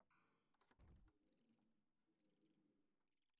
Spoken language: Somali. Dadku waxay u baahan yihiin aqoonsi si ay guri u helaan.